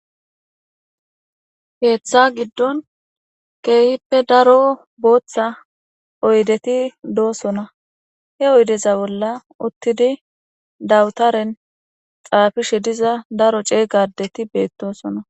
Ketha gidon kehipe daro botha oydeti dosona he oydeza bola utidi dawtaren xafishe diza daro c'ega adeti betosona.